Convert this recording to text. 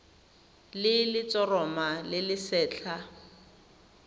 le letshoroma le le setlha